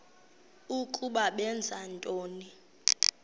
ukuba benza ntoni